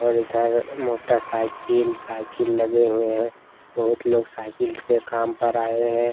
और इधर motorcycle cycle लगे हुए हैं बहुत लोग साइकिल से कम पर आए हैं।